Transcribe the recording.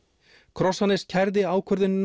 Krossanes kærði ákvörðunina